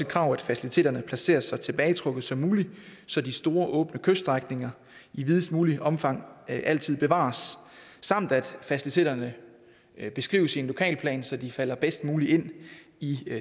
krav at faciliteterne placeres så tilbagetrukket som muligt så de store åbne kyststrækninger i videst muligt omfang altid bevares samt at faciliteterne beskrives i en lokalplan så de falder bedst muligt ind i